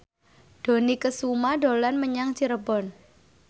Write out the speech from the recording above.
Dony Kesuma dolan menyang Cirebon